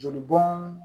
Joli bɔn